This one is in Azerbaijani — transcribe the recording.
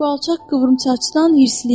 Bu alçaq qıvrımsaçdan hırslıyəm.